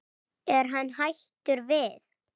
Er hann hættur við?